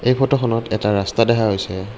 এই ফটোখনত এটা ৰাস্তা দেখা গৈছে।